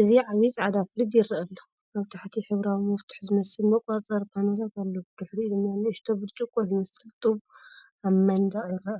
እዚ ዓቢ ጻዕዳ ፍሪጅ የርኢ ኣሎ። ኣብ ታሕቲ ሕብራዊ መፍትሕ ዝመስል መቆጻጸሪ ፓነላት ኣለዎ። ብድሕሪኡ ድማ ንእሽቶ ብርጭቆ ዝመስል ጡብ ኣብ መንደቕ ይርአ።